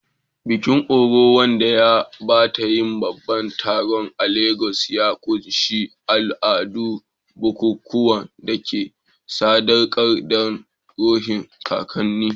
Bikin-orò, wanda ya taɓa yin babban taron a Legas, ya ƙunshi al'adu da bukukuwan da aka sadaukar don ruhohin kakanni.